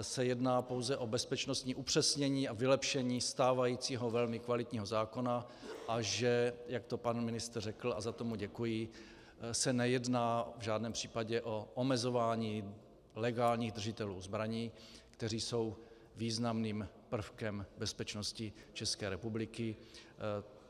se jedná pouze o bezpečnostní upřesnění a vylepšení stávajícího velmi kvalitního zákona a že - jak to pan ministr řekl a za to mu děkuji - se nejedná v žádném případě o omezování legálních držitelů zbraní, kteří jsou významným prvkem bezpečnosti České republiky.